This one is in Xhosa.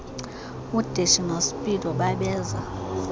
udeshy nospeedo babeza